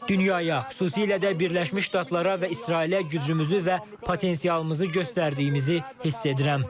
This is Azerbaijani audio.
Dünyaya, xüsusilə də Birləşmiş Ştatlara və İsrailə gücümüzü və potensialımızı göstərdiyimizi hiss edirəm.